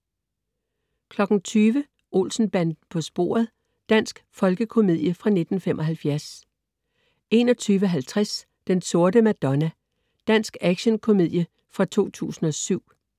20.00 Olsen-banden på sporet. Dansk folkekomedie fra 1975 21.50 Den Sorte Madonna. Dansk action-komedie fra 2007